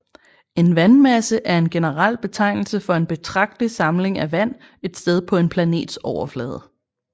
En vandmasse er en generel betegnelse for en betragtelig samling af vand et sted på en planets overflade